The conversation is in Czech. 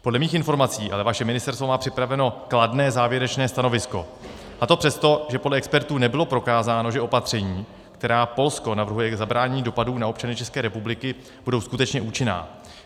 Podle mých informací ale vaše ministerstvo má připraveno kladné závěrečné stanovisko, a to přesto, že podle expertů nebylo prokázáno, že opatření, která Polsko navrhuje k zabránění dopadů na občany České republiky, budou skutečně účinná.